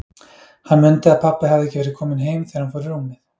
Hann mundi að pabbi hafði ekki verið kominn heim þegar hann fór í rúmið.